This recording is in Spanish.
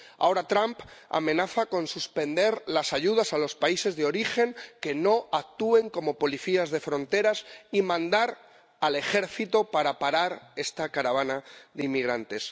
Ahora Trump amenaza con suspender las ayudas a los países de origen que no actúen como policías de fronteras y mandar al Ejército para parar esta caravana de inmigrantes.